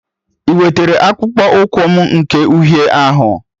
I wetara akpụkpọ ụkwụ m nke uhie ahụ?